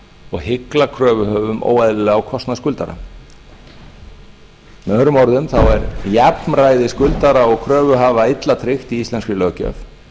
og hygla kröfuhöfum óeðlilega á kostnað skuldara með öðrum orðum er jafnræði skuldara og kröfuhafa illa tryggt í íslenskri löggjöf